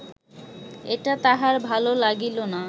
এটা তাহার ভাল লাগিল না